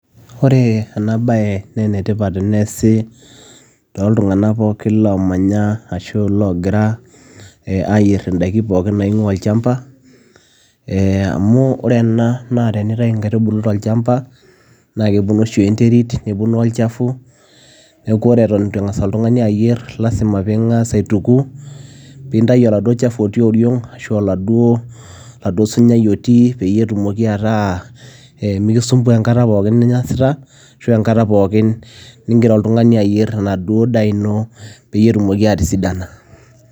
Ore ena bayee naa enetipat teneesi tontulnganak pookin loogira aayier idaikin pookin naingua olchamba omuu oree oshii tenintayuu nkaitubuluu tolchamba naa kepuonu olchafuu nekuu oree ituuu iyierr nintukuu peyiee itayuu osinyai peyiee mikisumbua enkataa ningiraa ayierrr